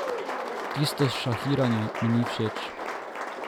Tisto šahiranje mi ni všeč.